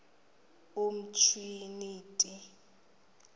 umtriniti